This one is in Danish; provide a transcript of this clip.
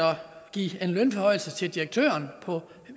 give en lønforhøjelse til direktøren på